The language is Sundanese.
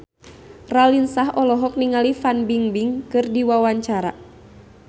Raline Shah olohok ningali Fan Bingbing keur diwawancara